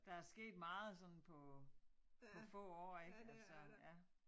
Der er sket meget sådan på på få år ik altså ja